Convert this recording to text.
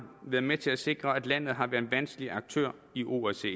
været med til at sikre at landet har været en vanskelig aktør i osce